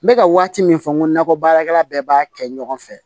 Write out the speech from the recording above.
N bɛ ka waati min fɔ n ko nakɔ baarakɛla bɛɛ b'a kɛ ɲɔgɔn fɛ